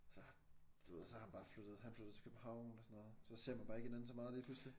Så du ved og så er han bare flyttet han flyttede til København og sådan noget så ser man bare ikke hinanden så meget lige pludselig